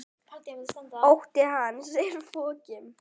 Ótti hans er fokinn.